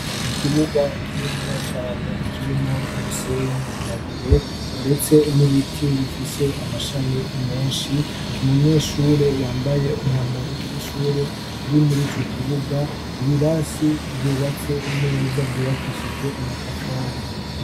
Ikibuga kininiya cane kirimwo umusenyi ,amabuye ndetse n'ibiti bifise amashami menshi, umunyeshure yambaye umwambaro w'ishure ari murico kibuga, ibirasi vyubatse neza vyubakishijwe amatafari.